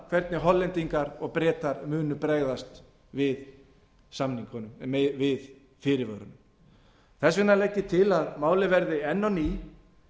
hvernig hollendingar og bretar muni bregðast við fyrirvörunum þess vegna legg ég til að málið verði enn á ný